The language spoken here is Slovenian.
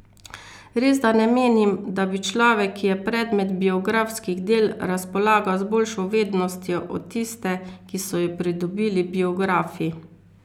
Resda ne menim, da bi človek, ki je predmet biografskih del, razpolagal z boljšo vednostjo od tiste, ki so jo pridobili biografi.